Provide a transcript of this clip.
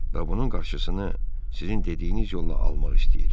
Və bunun qarşısını sizin dediyiniz yolla almaq istəyir.